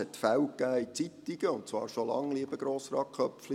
» Es gab Fälle in Zeitungen, und zwar schon lange, lieber Grossrat Köpfli.